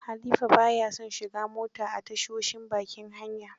Halifa ba ya son shiga mota a tashoshin bakin hanya.